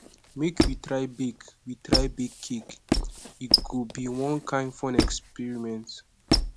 make we try bake we try bake cake e go be one kain fun experiment